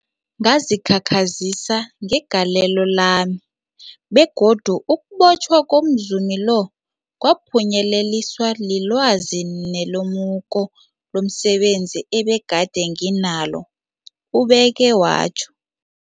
Ngazikhakhazisa ngegalelo lami, begodu ukubotjhwa komzumi lo kwaphunyeleliswa lilwazi nelemuko lomse benzi ebegade nginalo, ubeke watjho.